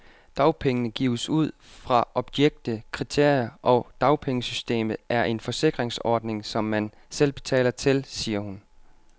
Dagpenge gives ud fra objektive kriterier, og dagpengesystemet er en forsikringsordning, som man selv betaler til, siger hun.